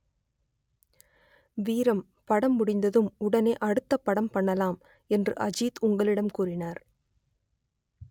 வீரம் படம் முடிந்ததும் உடனே அடுத்தப் படம் பண்ணலாம் என்று அஜித் உங்களிடம் கூறினார்